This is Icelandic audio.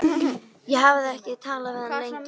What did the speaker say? Ég hafði ekki talað við hann lengi.